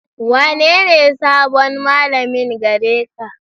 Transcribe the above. Wanene sabon malamin gare ka.